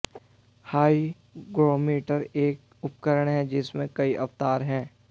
hygrometer एक उपकरण है जिसमें कई अवतार हैं